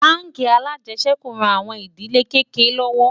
bánkì alàjesèkú ràn àwọn ìdílé kéké lówó